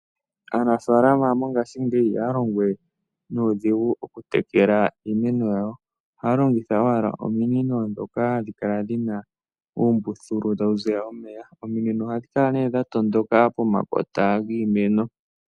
Aanafaalama mongashingeyi ihaya longowe nuudhigu oku tekela iimeno yawo. Ohaya longitha ominino ndhoka dhi na uumbuthulu hawu kala tawu ziya omeya, dho ominino ndhoka ohadhi kala dha tondoka pomakota giimeno.